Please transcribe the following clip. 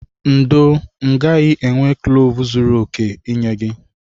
Ndo, m gaghị enwe kloves zuru oke inye gi.